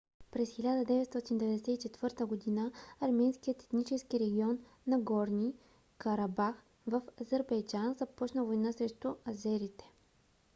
през 1994 г. арменският етнически регион нагорни карабах в азербайджан започна война срещу азерите